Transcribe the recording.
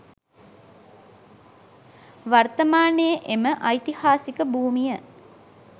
වර්තමානයේ එම ඓතිහාසික භූමිය